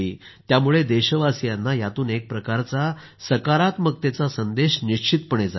त्यामुळे देशवासियांना यातून एक प्रकारचा सकारात्मकतेचा संदेश जाईल